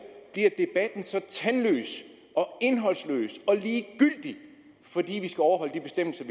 tandløs indholdsløs og ligegyldig fordi vi skal overholde de bestemmelser